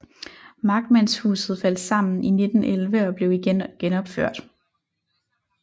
Markmandshuset faldt sammen i 1911 og blev igen genopført